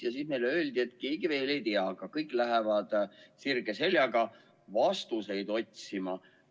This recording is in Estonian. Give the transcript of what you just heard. Ja siis meile öeldi, et keegi veel ei tea, aga kõik lähevad sirge seljaga vastuseid otsima.